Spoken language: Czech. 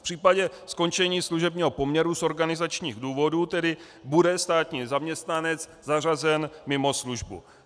V případě skončení služebního poměru z organizačních důvodů tedy bude státní zaměstnanec zařazen mimo službu.